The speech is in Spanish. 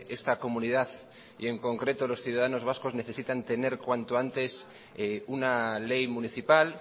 esta comunidad y en concreto los ciudadanos vascos necesitan tener cuanto antes una ley municipal